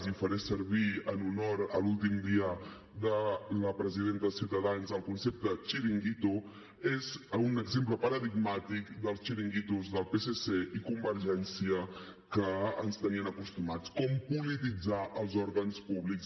i faré servir en honor a l’últim dia de la presidenta de ciutadans el concepte xiringuito és un exemple paradigmàtic dels xiringuitos del psc i convergència a què ens tenien acostumats com polititzar els òrgans públics